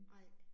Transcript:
Nej